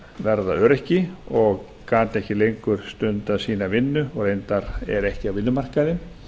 verða öryrki og gat ekki lengur stundað sína vinnu og reyndar er ekki á vinnumarkaði